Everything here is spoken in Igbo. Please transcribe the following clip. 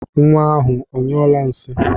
Nwa ahụ onyụọla nsị?